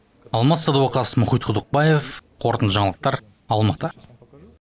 алмас садуақас мұхит құдықбаев қорытынды жаңалықтар алматы